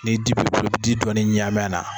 Ni di b'i bolo i bi di dɔɔnin ɲami a la